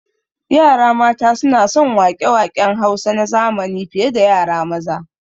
Yara mata suna son waƙe waƙen Hausa na zamani fi ye da yara maza